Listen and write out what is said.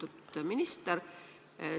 Lugupeetud minister!